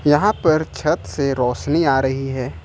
यहां पर छत से रोशनी आ रही है।